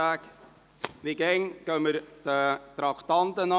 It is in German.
Wir gehen, wie immer, gemäss der Reihenfolge der Traktanden vor.